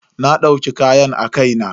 Na dauki kayan a kai na.